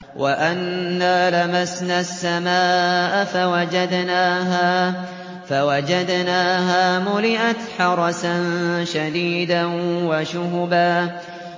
وَأَنَّا لَمَسْنَا السَّمَاءَ فَوَجَدْنَاهَا مُلِئَتْ حَرَسًا شَدِيدًا وَشُهُبًا